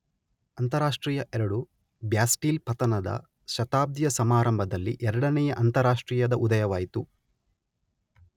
ಅಂತಾರಾಷ್ಟ್ರೀಯ ಎರಡು ,ಬ್ಯಾಸ್ಟೀಲ್ ಪತನದ ಶತಾಬ್ದಿಯ ಸಮಾರಂಭದಲ್ಲಿ ಎರಡನೆಯ ಅಂತಾರಾಷ್ಟ್ರೀಯದ ಉದಯವಾಯಿತು.